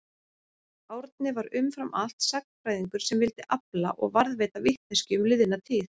Árni var umfram allt sagnfræðingur sem vildi afla og varðveita vitneskju um liðna tíð.